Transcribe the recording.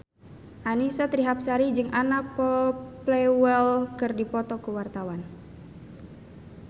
Annisa Trihapsari jeung Anna Popplewell keur dipoto ku wartawan